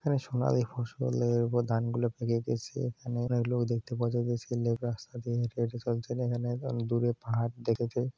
এখানে সোনালী ফসলের ওপর ধান গুলো পেকে গেছে। এখানে লোক দেখতে পাওয়া যাচ্ছে রাস্তা দিয়ে হেঁটে হেঁটে চলছে এবং এখানে দূরে পাহাড় দেখেছে ।